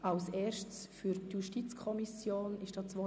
Wünscht die JuKo das Wort?